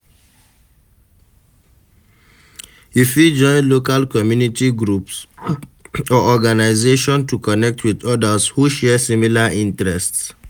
You fit join local community groups or organization to connect with odas who share similar interests.